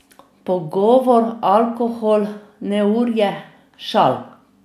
Pogovor, alkohol, neurje, šal.